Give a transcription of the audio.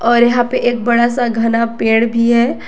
और यहां पे एक बड़ा सा घना पेड़ भी है।